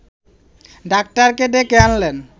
ডাক্তারকে ডেকে আনলেন